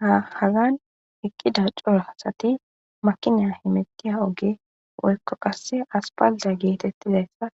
Haa .Hagani eqida cora asati makinayi hemetiya oge woyikko qase asipalitte getetizayissa